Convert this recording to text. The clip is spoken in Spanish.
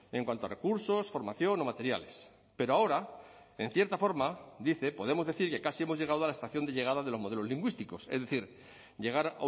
en cuanto a recursos formación o materiales pero ahora en cierta forma dice podemos decir que casi hemos llegado a la estación de llegada de los modelos lingüísticos es decir llegar